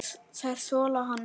Þeir þola hann ekki.